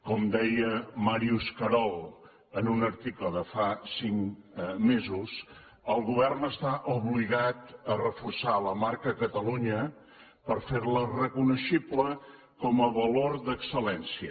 com deia màrius carol en un article de fa cinc mesos el govern està obligat a reforçar la marca catalunya per fer la reconeixible com a valor d’excel·lència